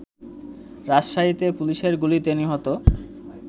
রাজশাহীতে পুলিশের গুলিতে নিহত